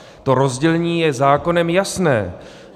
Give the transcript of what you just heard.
To rozdělení je zákonem jasné.